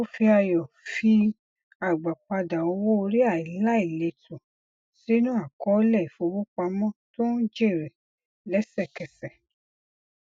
ó fi ayọ fi agbápadà owó orí aláìlètò sínú àkọọlẹ ìfowopamọ tó ń jèrè lẹsẹkẹsẹ